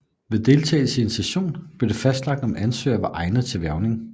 Ved deltagelse i en session blev det fastlagt om ansøgeren var egnet til hvervning